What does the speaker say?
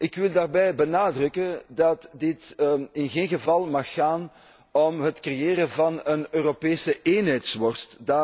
Ik wil daarbij benadrukken dat dit in geen geval mag gaan om het creëren van een Europese eenheidsworst.